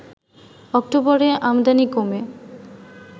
অক্টোবরে আমদানি কমে